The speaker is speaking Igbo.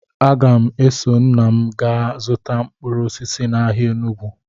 Aga m eso nna m gaa zụta mkpụrụ osisi n'ahịa Enugwu